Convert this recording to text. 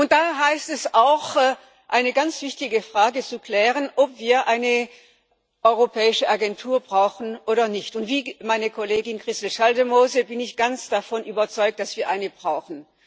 Und da heißt es auch eine ganz wichtige Frage zu klären, ob wir eine europäische Agentur brauchen oder nicht, und wie meine Kollegin Christel Schaldemose bin ich ganz davon überzeugt, dass wir eine brauchen.